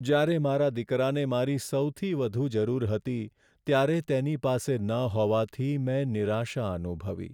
જ્યારે મારા દીકરાને મારી સૌથી વધુ જરૂર હતી ત્યારે તેની પાસે ન હોવાથી મેં નિરાશા અનુભવી.